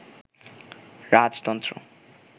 রাজতন্ত্র